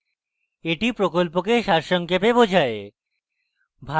এটি প্রকল্পকে সারসংক্ষেপে বোঝায়